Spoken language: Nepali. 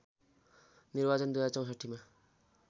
निर्वाचन २०६४ मा